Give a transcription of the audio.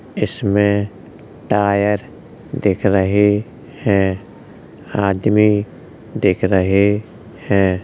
इसमे टायर दिख रहे है आदमी दिख रहे है।